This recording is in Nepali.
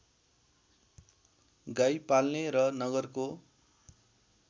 गाई पाल्ने र नगरको